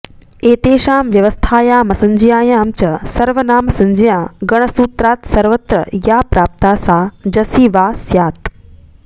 एतेषां व्यवस्थायामसंज्ञायां च सर्वनामसंज्ञा गणसूत्रात्सर्वत्र या प्राप्ता सा जसि वा स्यात्